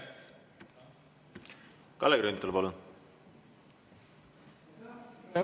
Kalle Grünthal, palun!